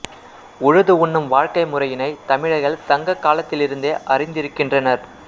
உழுது உண்ணும் வாழ்க்கை முறையினைத் தமிழர்கள் சங்க காலத்திலிருந்தே அறிந்திருக்கின்றனர்